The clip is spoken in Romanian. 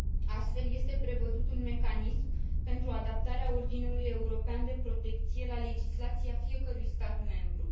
Astfel, este prevăzut un mecanism pentru adaptarea ordinului european de protecție la legislația fiecărui stat membru.